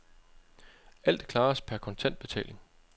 Alt klares per kontant betaling.